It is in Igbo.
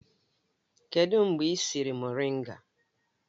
Kedụ mgbe ị siri moringa?